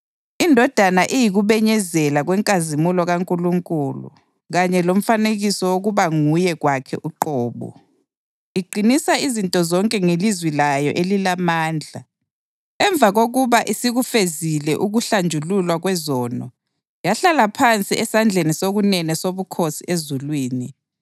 INdodana iyikubenyezela kwenkazimulo kaNkulunkulu kanye lomfanekiso wokuba nguye kwakhe uqobo, iqinisa izinto zonke ngelizwi layo elilamandla. Emva kokuba isikufezile ukuhlanjululwa kwezono, yahlala phansi esandleni sokunene sobukhosi ezulwini.